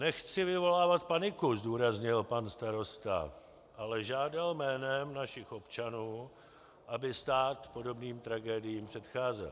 Nechci vyvolávat paniku, zdůraznil pan starosta, ale žádal jménem našich občanů, aby stát podobným tragédiím předcházel.